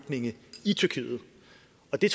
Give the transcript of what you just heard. det